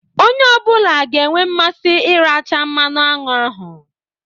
Onye ọ bụla ga-enwe mmasị iracha mmanụ aṅụ ahụ